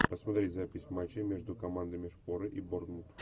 посмотреть запись матча между командами шпоры и борнмут